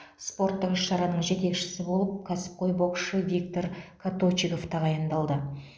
спорттық іс шараның жетекшісі болып кәсіпқой боксшы виктор коточигов тағайындалды